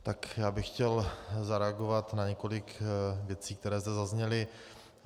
Tak já bych chtěl zareagovat na několik věcí, které zde zazněly.